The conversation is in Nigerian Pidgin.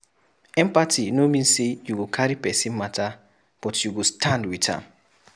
Empathy no mean sey you go carry pesin mata but you go stand wit am.